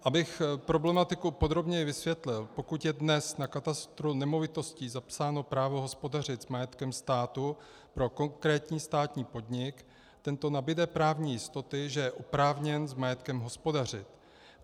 Abych problematiku podrobněji vysvětlil: Pokud je dnes na katastru nemovitostí zapsáno právo hospodařit s majetkem státu pro konkrétní státní podnik, tento nabude právní jistoty, že je oprávněn s majetkem hospodařit.